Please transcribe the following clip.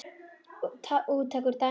Úttak úr dæminu að ofan